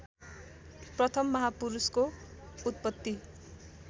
प्रथम महापुरूषको उतपत्ति